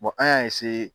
an y'a